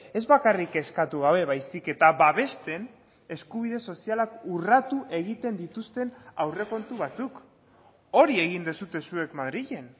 ez bakarrik eskatu gabe baizik eta babesten eskubide sozialak urratu egiten dituzten aurrekontu batzuk hori egin duzue zuek madrilen